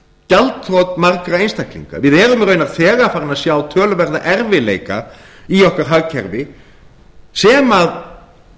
gjaldþrot margra einstaklinga við erum raunar þegar farin að sjá töluverða erfiðleika í okkar hagkerfi sem